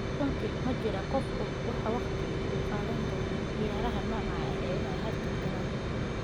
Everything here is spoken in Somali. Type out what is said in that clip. Runtii, ma jiro qof og waxa waqtiga uu qaadan doono ciyaaraha noocaas ah inay hakad galaan.